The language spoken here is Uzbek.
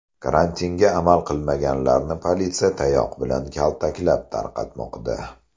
Karantinga amal qilmaganlarni politsiya tayoq bilan kaltaklab tarqatmoqda.